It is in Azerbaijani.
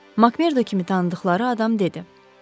Makmerda kimi tanıdıqları adam dedi.